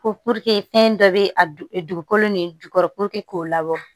Ko fɛn dɔ bɛ a dugukolo nin jukɔrɔ k'o labɔ